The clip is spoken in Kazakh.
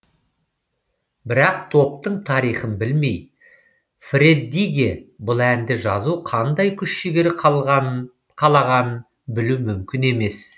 бірақ топтың тарихын білмей фреддиге бұл әнді жазу қандай күш жігер қалағанын білу мүмкін емес